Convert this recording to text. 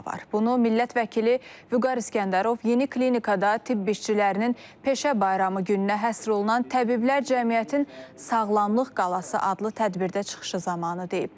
Bunu millət vəkili Vüqar İsgəndərov yeni klinikada tibb işçilərinin peşə bayramı gününə həsr olunan Təbiblər Cəmiyyətinin Sağlamlıq Qalası adlı tədbirdə çıxışı zamanı deyib.